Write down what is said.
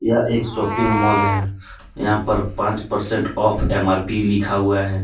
यह एक shopping mall है यहां पर पांच परसेंट ऑफ एम_आर_पी लिखा हुआ है।